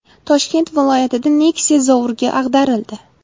Toshkent viloyatida Nexia zovurga ag‘darildi.